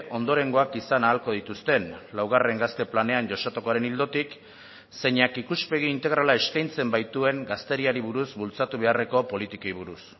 ondorengoak izan ahalko dituzten laugarren gazte planean jasotakoaren ildotik zeinak ikuspegi integrala eskaintzen baituen gazteriari buruz bultzatu beharreko politikei buruz